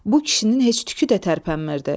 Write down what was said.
Bu kişinin heç tükü də tərpənmirdi.